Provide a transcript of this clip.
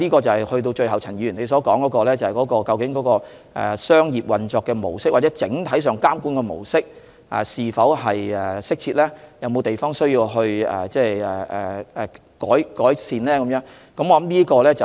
最後，陳議員問及商業運作的模式或整體監管的模式是否適切，以及是否有需要改善的地方。